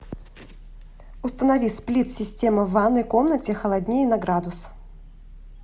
установи сплит система в ванной комнате холоднее на градус